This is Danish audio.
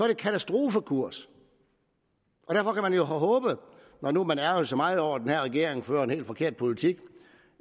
katastrofekurs og når nu man ærgrer sig så meget over at den her regering fører en helt forkert politik